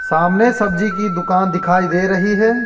सामने सब्जी की दुकान दिखाई दे रही है।